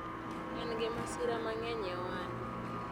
en gi masira mang'eny e ohande